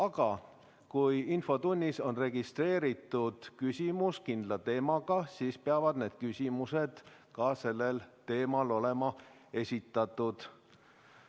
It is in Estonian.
Aga kui infotunnis on registreeritud küsimus kindlal teemal, siis peavad küsimused just sellel teemal olema esitatud.